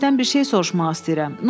Mən sizdən bir şey soruşmaq istəyirəm.